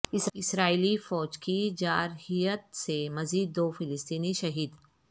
اسرائیلی فوج کی جارحیت سے مزید دو فلسطینی شہید